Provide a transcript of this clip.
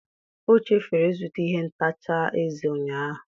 O chefuru ịzụta ihe ntacha eze ụnyahụ.